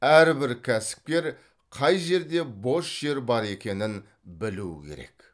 әрбір кәсіпкер қай жерде бос жер бар екенін білу керек